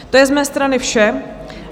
To je z mé strany vše.